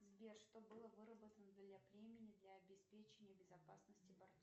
сбер что было выработано для племени для обеспечения безопасности